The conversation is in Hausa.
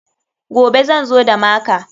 Gobe zan zo da maka.